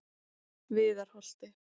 Viðarholti